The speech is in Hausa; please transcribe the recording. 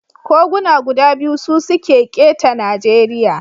Koguna guda biyu su suke keta Najeriya.